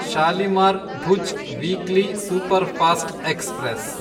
Shalimar Bhuj weekly superfast express